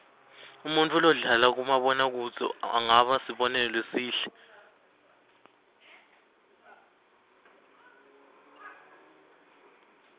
umuntfu lodlala kumabona kudze angaba sibonelo lesihle